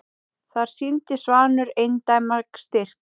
Þar sýndi Svanur eindæma styrk.